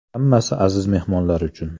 Hammasi aziz mehmonlar uchun.